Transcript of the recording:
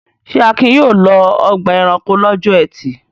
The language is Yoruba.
Ṣé Akin yóò lọ ọgbà-ẹranko lọ́jọ́ ẹtì?